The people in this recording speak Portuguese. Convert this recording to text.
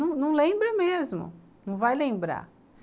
Não lembra mesmo, não vai lembrar.